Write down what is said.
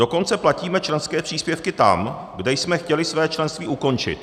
Dokonce platíme členské příspěvky tam, kde jsme chtěli své členství ukončit.